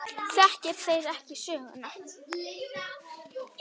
Þekki þeir ekki söguna.